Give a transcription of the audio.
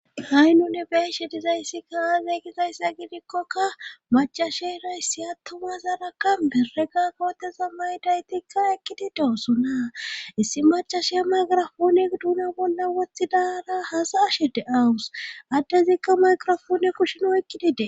Ha7i nune beeshe dizayssika aaza gizayssa gidikkokka macashera issi attuma zaraka bereka kooteza maydaytikka ekkidi dosonna issi macashiya magirafooni duuna bolla wothidara hasa ashe de7awus addezikka mayqrofoone kusheni oykidi dees.